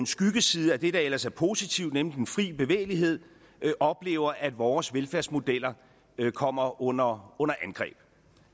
skyggesiden af det der ellers er positivt nemlig den fri bevægelighed oplever at vores velfærdsmodeller kommer under angreb